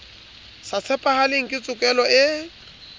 sa tshepahaleng ke tshokelo e